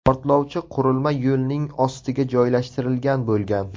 Portlovchi qurilma yo‘lning ostiga joylashtirilgan bo‘lgan.